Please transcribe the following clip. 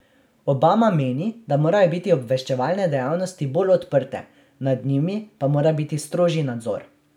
Obama meni, da morajo biti obveščevalne dejavnosti bolj odprte, nad njimi pa mora biti strožji nadzor.